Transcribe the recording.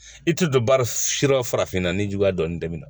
I tɛ don ba si yɔrɔ farafinna ni juguya dɔɔnin tɛmɛna